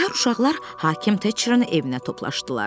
Səhər uşaqlar hakim Teçrın evinə toplaşdılar.